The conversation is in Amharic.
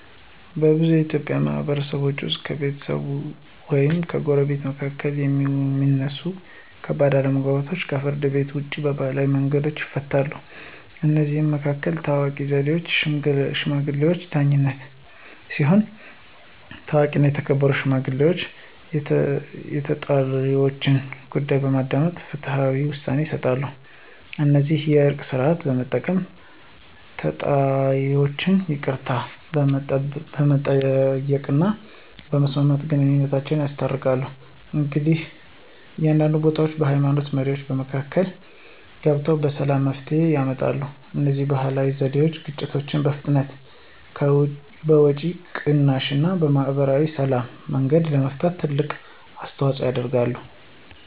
በብዙ የኢትዮጵያ ማህበረሰቦች ውስጥ ከቤተሰቦች ወይም ከጎረቤቶች መካከል የሚነሱ ከባድ አለመግባባቶች ከፍርድ ቤት ውጭ በባህላዊ መንገዶች ይፈታሉ። ከእነዚህ መካከል ታዋቂው ዘዴ “የሽማግሌዎች ዳኝነት” ሲሆን፣ ታዋቂና የተከበሩ ሽማግሌዎች የተጣይወችን ጉዳይ በማዳመጥ ፍትሃዊ ውሳኔ ይሰጣሉ። እንዲሁም “የእርቅ ሥርዓት” በመጠቀም ተጣይወች ይቅርታ በመጠየቅና በመስጠት ግንኙነታቸውን ያስታርቃሉ። አንዳንድ ቦታዎች የሃይማኖት መሪዎችም በመካከል ገብተው በሰላም መፍትሄ ያመጣሉ። እነዚህ ባህላዊ ዘዴዎች ግጭትን በፍጥነት፣ በወጪ ቅናሽ እና በማህበራዊ ሰላም መንገድ ለመፍታት ትልቅ አስተዋፅኦ ያደርጋሉ።